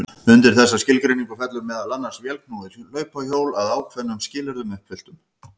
Undir þessa skilgreiningu fellur meðal annars vélknúið hlaupahjól að ákveðnum skilyrðum uppfylltum.